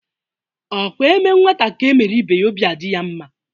Ọ bụkwa eme nwata ka emere ibe ya obi adị ya mma?